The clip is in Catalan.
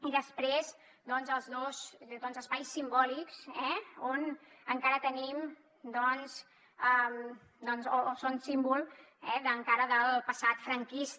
i després doncs els dos espais simbòlics que encara tenim o que són símbol encara del passat franquista